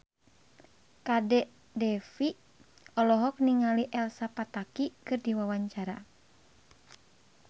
Kadek Devi olohok ningali Elsa Pataky keur diwawancara